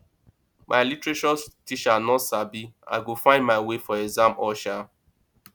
my literature teacher no sabi i go find my way for exam hall shaa